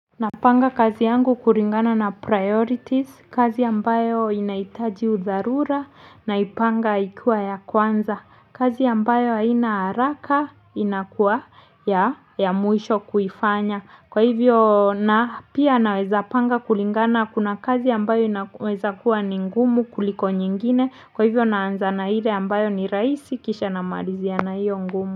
Napanga kazi yangu kulingana na priorities, kazi ambayo inahitaji udharura na ipanga ikiwa ya kwanza, kazi ambayo haina haraka inakuwa ya mwisho kuifanya, kwa hivyo na pia naweza panga kulingana kuna kazi ambayo inaweza kuwa ni ngumu kuliko nyingine, kwa hivyo naanza na ile ambayo ni rahisi kisha na malizia na hiyo ngumu.